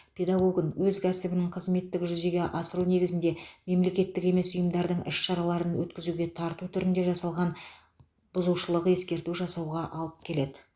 педагогін өз кәсіптік қызметік жүзеге асыру кезінде мемлекеттік емес ұйымдардың іс шараларын өткізуге тарту түрінде жасалған бұзушылық ескерту жасауға алып келеді